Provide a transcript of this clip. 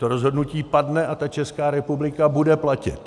To rozhodnutí padne a ta Česká republika bude platit.